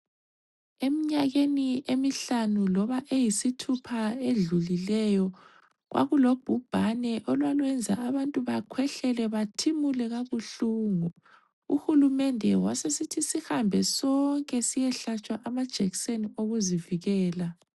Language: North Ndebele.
Eminyakeni emihlanu loba eyisithupha edlulieyo kwakulo bhubhane olwaluyenza abantu bakhwehlele bathimule kabuhlungu, uhulumende wasesithi sihambe sonke siyehlatshwa amajekiseni okuzivikela.